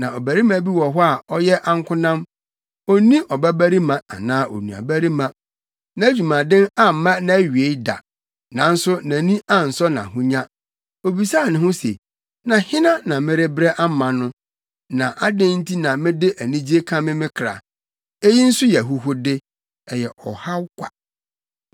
Na ɔbarima bi wɔ hɔ a ɔyɛ ankonam; onni ɔbabarima anaa onuabarima. Nʼadwumaden amma nʼawie da, nanso nʼani ansɔ nʼahonya. Obisaa ne ho se, “Na hena na merebrɛ ama no, na adɛn nti na mede anigye kame me kra?” Eyi nso yɛ ahuhude, ɛyɛ ɔhaw kwa.